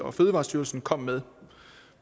og fødevarestyrelsen kom med